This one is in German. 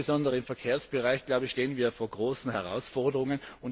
Insbesondere im Verkehrsbereich stehen wir vor großen Herausforderungen.